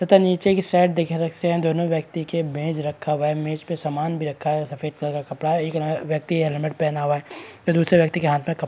पता नीचे दोनों व्यक्ति के मेज रखा हुआ है मेज में सामान भी रखा हुआ है सफ़ेद कलर का कपड़ा एक व्यक्ति हेलमेट पहना हुआ है दूसरे के व्यक्ति के हाथ में --